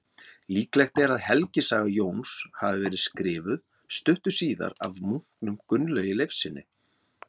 Líklegt er að helgisaga Jóns hafi verið skrifuð stuttu síðar af munknum Gunnlaugi Leifssyni.